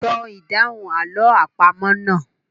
Sọ ìdáhùn àlọ́ àpamọ̀ náà.